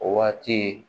O waati